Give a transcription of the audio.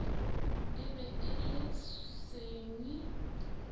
e be e le senwi